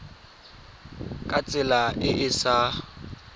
ka tsela e e sa